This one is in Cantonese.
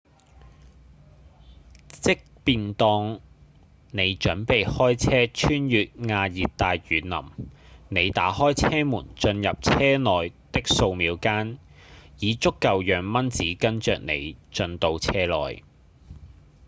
即便當你準備開車穿越亞熱帶雨林你打開車門進入車內的數秒間已足夠讓蚊子跟著你進到車內